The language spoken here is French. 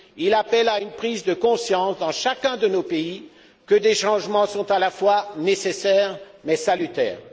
Il appelle à une prise de conscience, dans chacun de nos pays, du fait que des changements sont à la fois nécessaires et salutaires.